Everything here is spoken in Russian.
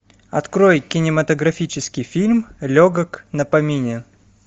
открой кинематографический фильм легок на помине